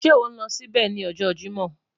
Ṣe o n lọ sibẹ ni ọjọ Jimọ?